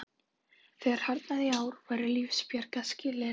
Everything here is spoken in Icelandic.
Þegar harðnaði í ári, væru lífsbjargarskilyrði